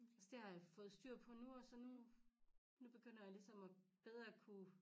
Så det har jeg fået styr på nu og så nu nu begynder jeg ligesom at bedre at kunne